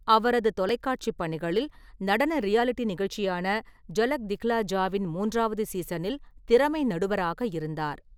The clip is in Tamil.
அவரது தொலைக்காட்சி பணிகளில், நடன ரியாலிட்டி நிகழ்ச்சியான ஜலக் திக்ஹ்லா ஜாவின் மூன்றாவது சீசனில் திறமை நடுவராக இருந்தார்.